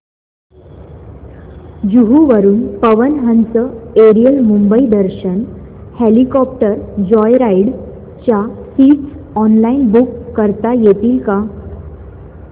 जुहू वरून Pawan Hans aerial Mumbai Darshan helicopter joyride च्या seats online book करता येतील का